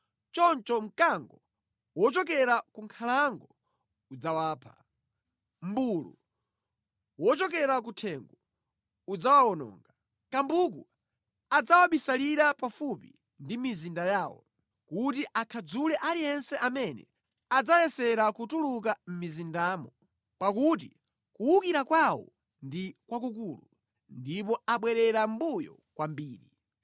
Choncho mkango wochokera ku nkhalango udzawapha, mmbulu wochokera ku thengo udzawawononga, kambuku adzawabisalira pafupi ndi mizinda yawo kuti akhadzule aliyense amene adzayesera kutuluka mʼmizindamo pakuti kuwukira kwawo ndi kwakukulu ndipo abwerera mʼmbuyo kwambiri.